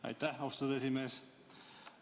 Aitäh, austatud esimees!